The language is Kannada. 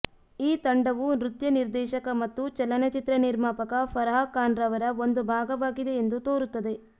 ಈ ತಂಡವು ನೃತ್ಯ ನಿರ್ದೇಶಕ ಮತ್ತು ಚಲನಚಿತ್ರ ನಿರ್ಮಾಪಕ ಫರಾಹ್ ಖಾನ್ರವರ ಒಂದು ಭಾಗವಾಗಿದೆ ಎಂದು ತೋರುತ್ತದೆ